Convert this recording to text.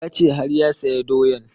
Ya ce har ya saya doyan